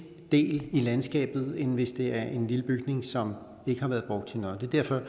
del i landskabet end hvis det er en lille bygning som ikke har været brugt til noget det er derfor